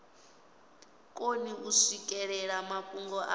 koni u swikelela mafhungo a